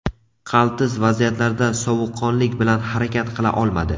Qaltis vaziyatlarda sovuqqonlik bilan harakat qila olmadi.